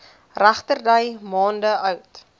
regterdy maande oud